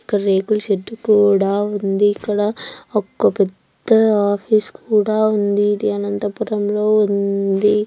ఇక్కడ రేకుల షెడ్ కూడా ఉంది. ఇక్కడ ఒక పెద్ద ఆఫీసు కూడా ఉంది.ఇది అనంతపురంలో ఉందీ.